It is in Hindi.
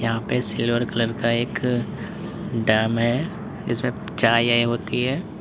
सिल्वर कलर का एक ड्रम है जिसमें चाय उबलती है।